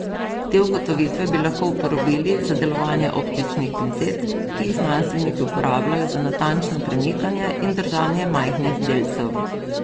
Te ugotovitve bi lahko uporabili za delovanje optičnih pincet, ki jih znanstveniki uporabljajo za natančno premikanje in držanje majhnih delcev.